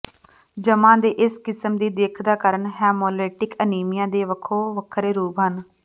ਜਮ੍ਹਾ ਦੇ ਇਸ ਕਿਸਮ ਦੀ ਦਿੱਖ ਦਾ ਕਾਰਨ ਹੈਮੋਲੈਟਿਕ ਅਨੀਮੀਆ ਦੇ ਵੱਖੋ ਵੱਖਰੇ ਰੂਪ ਹਨ